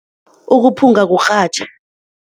Ukuphunga kurhatjha.